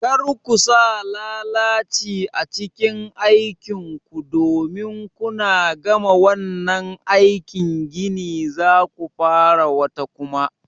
Kar ku sa lalaci a cikin aikin ku domin kuna gama wannan aikin gini zaku fara wata kuma